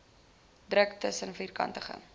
druk tussen vierkantige